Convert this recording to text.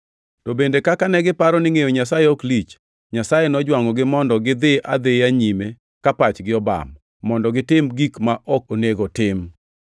To bende, kaka negiparo ni ngʼeyo Nyasaye ok lich, Nyasaye nojwangʼogi mondo gidhi adhiya nyime ka pachgi obam, mondo gitim, gik ma ok onego otim.